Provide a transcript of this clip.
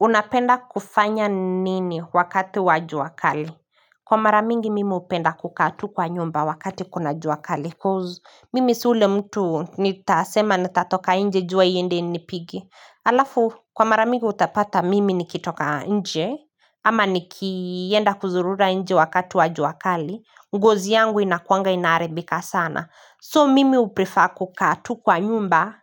Unapenda kufanya nini wakati wajua kali? Kwa maramingi mimi hupenda kukaatu kwa nyumba wakati kuna jua kali koz mimi siule mtu nitasema nitatoka nje jua iende inipige. Alafu kwa maramingi utapata mimi nikitoka nje ama nikienda kuzurura nje wakati wa jua kali. Ngozi yangu inakuanga inaharibika sana so mimi huprifa kukaatu kwa nyumba